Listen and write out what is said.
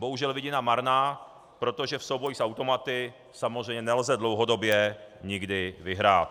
Bohužel vidina marná, protože v souboji s automaty samozřejmě nelze dlouhodobě nikdy vyhrát.